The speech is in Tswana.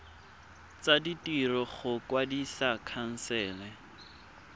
tsa ditiro go kwadisa khansele